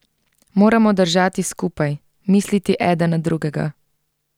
Moramo držati skupaj, misliti eden na drugega.